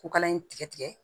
Ko kala in tigɛ tigɛ